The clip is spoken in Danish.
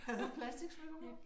Havde hun platiksmykker på?